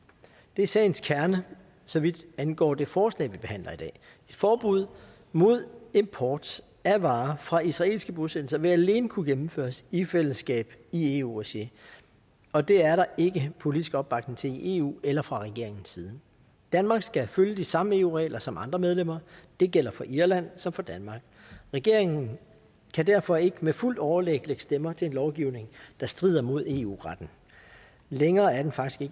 det er sagens kerne så vidt angår det forslag vi behandler i dag et forbud mod import af varer fra israelske bosættelser vil alene kunne gennemføres i fællesskab i eu regi og det er der ikke politisk opbakning til i eu eller fra regeringens side danmark skal følge de samme eu regler som andre medlemmer det gælder for irland som for danmark regeringen kan derfor ikke med fuldt overlæg lægge stemmer til en lovgivning der strider mod eu retten længere er den faktisk